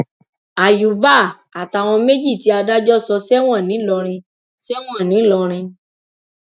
àyùbá àtàwọn méjì tí adájọ sọ sẹwọn ńìlọrin sẹwọn ńìlọrin